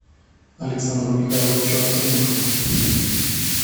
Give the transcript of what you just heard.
александру михайловичу овсянникову